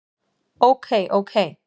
Ok ok.